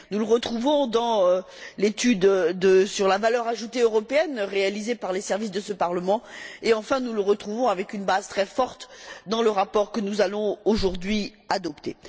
Nous le retrouvons dans l'étude sur la valeur ajoutée européenne, réalisée par les services de ce Parlement. Enfin, nous le retrouvons, avec une base très forte, dans le rapport que nous allons aujourd'hui adopter.